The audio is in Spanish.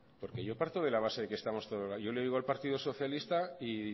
porque yo parto de la base de que estamos todos de acuerdo yo le oigo al partido socialista y